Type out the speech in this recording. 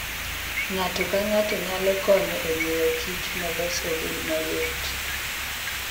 Ng'ato ka ng'ato nyalo konyo e miyokich molos obed mayot.